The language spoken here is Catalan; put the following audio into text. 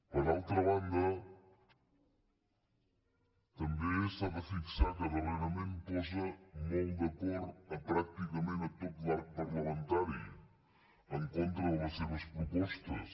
per altra banda també s’ha de fixar que darrerament posa molt d’acord a pràcticament tot l’arc parlamentari en contra de les seves propostes